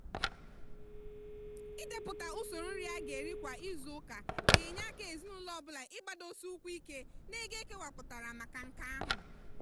ịdepụta usoro nri a ga eri kwa izuuka ga enye aka ezinụlọ ọ bụla ịgbadosi ụkwụ ike n'ego ekewapụtara maka nke ahụ.